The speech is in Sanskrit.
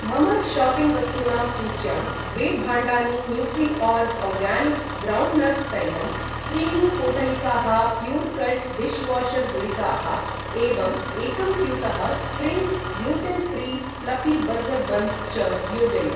मम शाप्पिङ्ग् वस्तूनां सूच्यां द्वे भाण्डानि न्यूट्रिओर्ग् आर्गानिक् ग्रौण्ड्नट् तैलम्, त्रीणि पोटलिकाः प्यूर्कल्ट् डिश्वाशर् गुलिकाः एवं एकं स्यूतः spring gluten free fluffy burger buns च योजय।